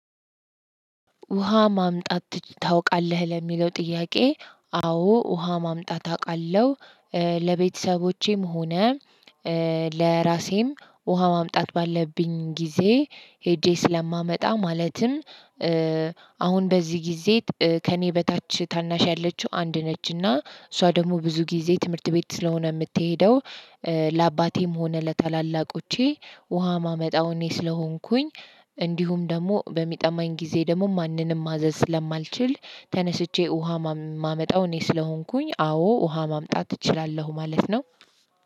ውሃ ማምጣት ታውቃለህ ለሚለው ጥያቄ አዎ ውሃ ማምጣት አቃለሁ። ለቤተሰቦቼም ሆነ ለራሴም ውሃ ማምጣት ባለብኝ ጊዜ ሄጄ ስለማመጣ ማለትም። አሁን በዚህ ጊዜ ከእኔ በታች ታናሽ ያለችው አንድ ነች እና እሷ ደሞ ብዙ ጊዜ ትምህርት ቤት ስለሆነ ምትሄደው። ለአባቴም ሆነ ለታላላቆቼ ውሃ ማመጣው እኔ ስለሆንኩኝ። እንዲሁም ደሞ በሚጠማኝ ጊዜ ደሞ ማንንም ማዘዝ ስለማልችል ተነስቼ ውሃ ማመጣው እኔ ስለሆንኩኝ አዎ ውሃ ማምጣት ትችላለህ ማለት ነው።